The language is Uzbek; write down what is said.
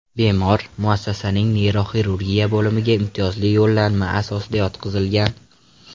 Bemor muassasaning neyroxirurgiya bo‘limiga imtiyozli yo‘llanma asosida yotqizilgan.